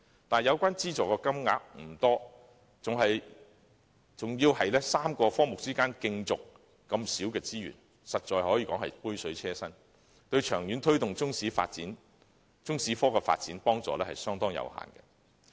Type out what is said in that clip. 但是，有關資助金額不多，還要由3個科目分攤這小量的資助，實在是杯水車薪，對於長遠推動中史科的發展，幫助相當有限。